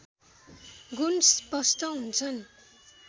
गुण स्पष्ट हुन्छन्